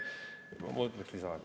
Ma võtaks lisaaega.